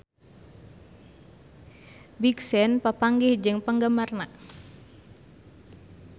Big Sean papanggih jeung penggemarna